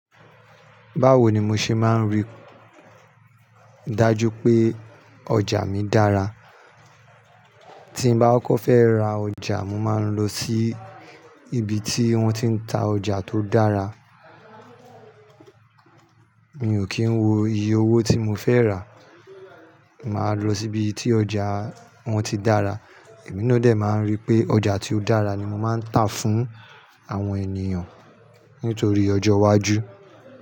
Báwo ni mo ṣe máa ń rí i dájú pé ọjà mi dára? Tí n bá kókó fẹ́ ra ọjà, mo máa ń lọ sí ibi tí wọ́n ti ń ta ọjà tó dára. Mi ò kí ń wo iye owó tí mo fẹ́ rà, mo màá lọ sí ibi tí ọjà wọn ti dára. Èmi náà de máa ń rí pé ọjà tí ó dára ni mo máa ń tà fún àwọn ènìyàn nítorí ọjọ́ iwájú.